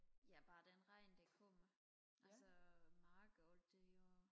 ja bare den regn der kommer altså marker og det jo